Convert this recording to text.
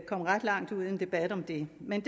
kom ret langt ud i en debat om det men